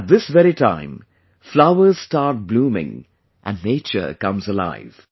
At this very time, flowers start blooming and nature comes alive